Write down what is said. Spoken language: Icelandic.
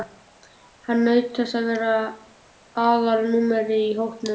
Hann naut þess að vera aðalnúmerið í hópnum.